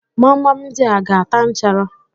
Gbamgbam ndị a aga-ata nchara?